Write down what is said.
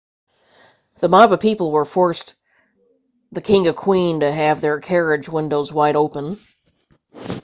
the mob of people forced the king and queen to have their carriage windows wide open